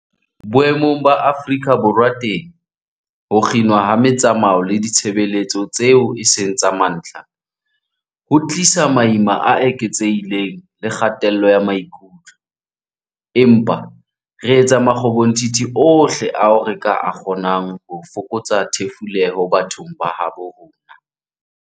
Boemong ba Afrika Borwa teng, ho kginwa ha metsamao le ditshebeletso tseo e seng tsa mantlha ho tlisa maima a eketsehileng le kgatello ya maikutlo, empa re etsa makgobonthithi ohle ao re ka a kgonang ho fokotsa thefuleho bathong ba habo rona.